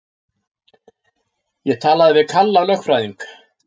Ég talaði við Kalla lögfræðing.